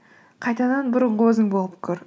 қайтадан бұрынғы өзің болып көр